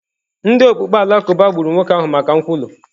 Ndị okpukpe Alakụba gburu nwoke ahụ maka nkwulu.